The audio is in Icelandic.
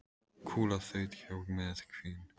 Kúla þaut hjá með hvin.